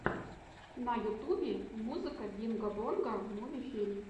на ютубе музыка бинго бонго муви фильм